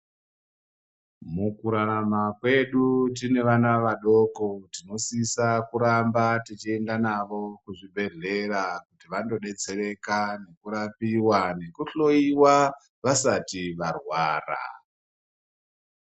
Mukurarama kwedu tine vana vadoko tinosisa kuramba tichienda navo kuchibhedhlera kuti vandodetsereka nekurapiwa nekuhloyiwa vasati varwara.